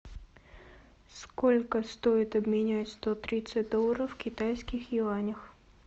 сколько стоит обменять сто тридцать долларов в китайских юанях